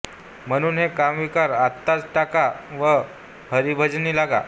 म्हणून हे कामविकार आत्ताच टाका व हरिभजनी लागा